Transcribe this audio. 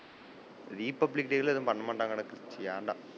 Republic day ல எல்லாம் எதும் பண்ண மாட்டங்கடா எனக்கு தெரிஞ்சு ஏண்டா?